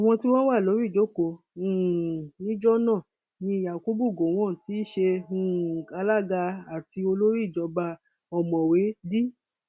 àwọn tí wọn wà lórí ìjókòó um níjọ náà ni yakubu gowon tí í ṣe um alága àti olórí ìjọba ọmọwé d